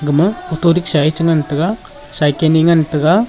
ema auto risha che te ngan taiga cycle .